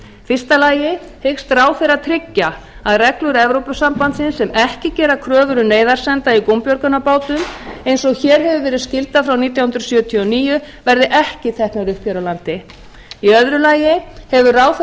fyrsta lagi hyggst ráðherra tryggja að reglur evrópusambandsins sem ekki gera kröfur um neyðarsenda í gúmbjörgunarbátum eins og hér hefur verið skylda frá nítján hundruð sjötíu og níu verði ekki teknar upp hér á landi í öðru lagi hefur ráðherra